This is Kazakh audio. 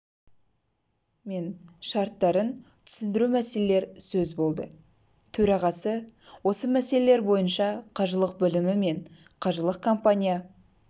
мен шарттарын түсіндіру мәселелер сөз болды төрағасы осы мәселелер бойынша қажылық бөлімі мен қажылық компания